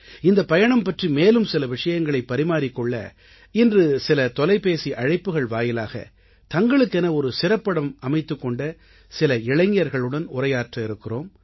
இந்தப் பயணம் பற்றி மேலும் சில விஷயங்களைப் பரிமாறிக் கொள்ள இன்று சில தொலைபேசி அழைப்புகள் வாயிலாக தங்களுக்கென ஒரு சிறப்பிடம் அமைத்துக் கொண்ட சில இளைஞர்களுடன் உரையாற்ற இருக்கிறோம்